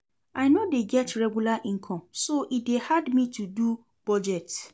I no dey get regular income so e dey hard me to do budget.